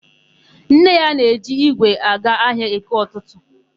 Nne ya na-eji ígwè eje ahịa EkeỤtụtụ.